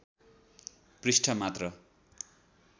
पृष्ठ मात्र